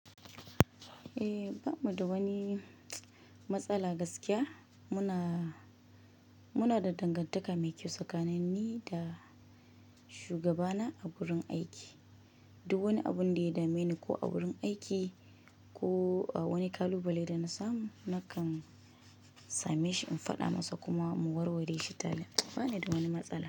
Eh, ba mu da wani matsala gaskiya. Muna, muna da dangantaka mai kyau tsakanin ni da shugabana a wurin aiki. Duk wani abun da ya dame ni ko a wurin aiki ko a wani kalubale da na samu, nakan same shi in faɗa masa kuma mu warware shi tare. Ba ni da wani matsala.